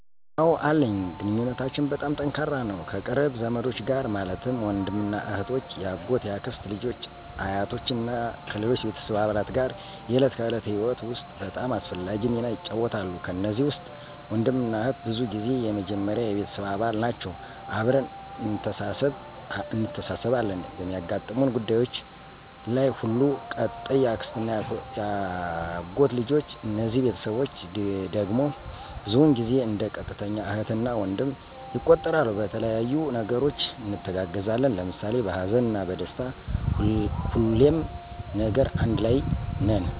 አወ አለኝ ግንኙነታችን በጣም ጠንካራ ነው ከቅርብ ዘመዶች ጋር ማለትም ወንድምና እህቶች፣ የአጎት፣ የአክስት ልጆች አ፣ አያቶች እና ከሌሎች ቤተሰብ አባላት ጋር የዕለት ከዕለት ህይወት ውስጥ በጣም አስፈላጊ ሚና ይጫወታሉ። ከነዚህ ውስጥ ወንድምና እህት ብዙ ጊዜ የመጀመሪያ የቤተሰብ አባል ናቸወ አብረን እንተሳስብ አለን በሚያጋጥሙን ጉዳዩች ለይ ሁሉ። ቀጣይ የአክስትና የአጎት ልጆች እነዚህ ቤተስቦቸ ድግም ብዙውን ጊዜው እንደ ቀጥተኛ እህት እና ወንድም ይቆጠራሉ በተለያዩ ነገሮች እንተጋገዛለን ለምሳሌ በሀዘንና በደስታ ሁሌም ነገር አንድ ለይ ነን።